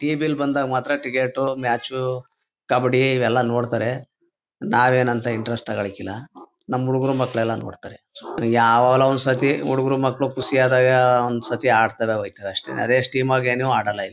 T V ಲಿ ಬಂದಾಗ ಮಾತ್ರ ಟಿಕೆಟ್ ಮ್ಯಾಚ್ ಕಬ್ಬಡಿ ಇವೆಲ್ಲ ನೋಡ್ತಾರೆ ನಾವೇನ್ ಅಂತ ಇಂಟ್ರೆಸ್ಟ್ ತಗಳಿಕೆಲ್ಲ ನಮ್ ಹುಡಗುರ್ ಮೆಕ್ಲೆಲ್ಲಾ ನೋಡ್ತಾರೆ ಯಾವಾಗ್ಲೋ ಒಂದ್ ಸತಿ ಹುಡಗುರ್ ಮಕ್ಳು ಖುಷಿ ಆದಾಗ ಒಂದ್ ಸತಿ ಆಡ್ತಾರೆ ಹೊಯ್ತಾರೆ ಅಷ್ಟೇ ಅದೇ ಆಗ ಏನು ಅದಲ್ಲ ಇಲ್ಲಿ.